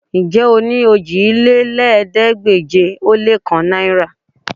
Ṣé o ní òjìlélẹ́ẹ̀ẹ́dégbèje-lé-kan náìrà?